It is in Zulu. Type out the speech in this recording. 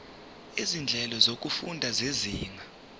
izinhlelo zokufunda zezinga